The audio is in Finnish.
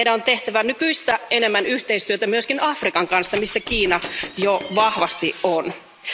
Meidän on tehtävä nykyistä enemmän yhteistyötä myöskin Afrikan kanssa, missä Kiina jo vahvasti on läsnä.